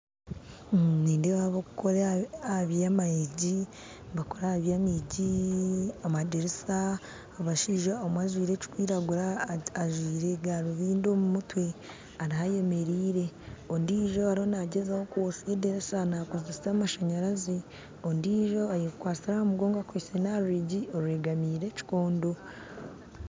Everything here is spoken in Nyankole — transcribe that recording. Omu nindeeba abarikukora aha by'enyiji nibakora aha by'enyiji amadirisa abashaija omwe ajwaire ekirikwiragura ajwaire garubindi omu mutwe ariho ayemerire ondiijo ariyo naagyezaho kwosya edirisa nakozesa amashanyarazi ondijjo ayekwatsire aha mugongo akwaitse n'aha rwigi orwegamiire ekikondo